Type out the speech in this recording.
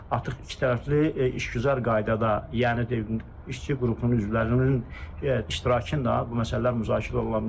Artıq ikitərəfli işgüzar qaydada, yəni işçi qrupunun üzvlərinin iştirakı da bu məsələlər müzakirə oluna bilər.